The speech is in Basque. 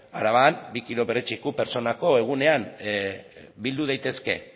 araban bi kilo perretxiko pertsonako egunean bildu daitezke